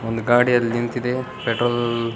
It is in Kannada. ಒಂದು ಗಾಡಿ ಅಲ್ಲಿ ನಿಂತಿದೆ ಪೆಟ್ರೋಲ್ --